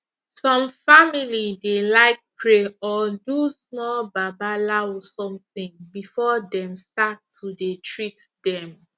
some family dey like pray or do small babalawo somtin before dem start to dey treat dem